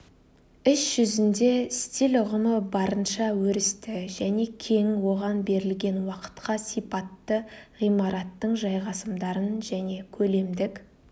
іс жүзінде стиль ұғымы барынша өрісті және кең оған берілген уақытқа сипатты ғимараттың жайғасымдарын және көлемдік